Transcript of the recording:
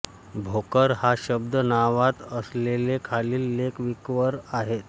भोकर हा शब्द नावात असलेले खालील लेख विकीवर आहेत